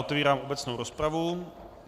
Otevírám obecnou rozpravu.